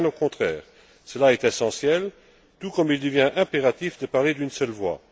Bien au contraire, cela est essentiel, tout comme il devient impératif de parler d'une seule voix.